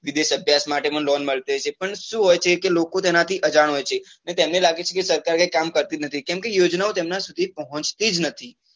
વિદેશ અભ્યાસ માટે પણ loan મળતી હોય છે પણ શું હોય છે કે લોકો તેના થી અજાણ હોય છે ને તેમને લાગે છે કે સરકાર કઈ કામ કરતી જ નથી કેમ કે યોજના ઓ તેમના સુધી પહોચતી જ નથી